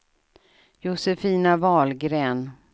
Josefina Wahlgren